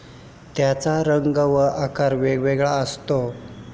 त्याचा रंग व आकार वेगवेगळा असतो.